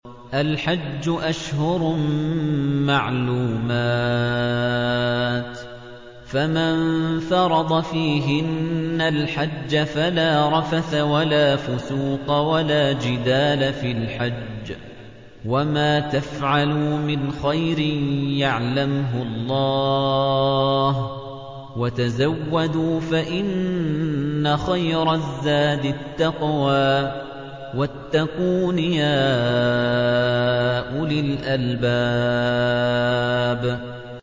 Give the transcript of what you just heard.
الْحَجُّ أَشْهُرٌ مَّعْلُومَاتٌ ۚ فَمَن فَرَضَ فِيهِنَّ الْحَجَّ فَلَا رَفَثَ وَلَا فُسُوقَ وَلَا جِدَالَ فِي الْحَجِّ ۗ وَمَا تَفْعَلُوا مِنْ خَيْرٍ يَعْلَمْهُ اللَّهُ ۗ وَتَزَوَّدُوا فَإِنَّ خَيْرَ الزَّادِ التَّقْوَىٰ ۚ وَاتَّقُونِ يَا أُولِي الْأَلْبَابِ